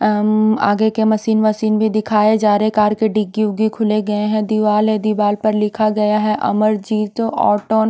आगे के machine machine भी दिखाए जा रहे कार के डिग्गी उग्गी खुले गए हैं दीवाल हैं दीवाल पर लिखा गया हैं अमरजीत और टोन--